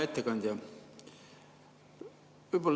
Hea ettekandja!